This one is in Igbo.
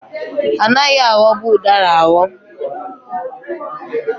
Anaghị aghọbụ ụdara aghọ.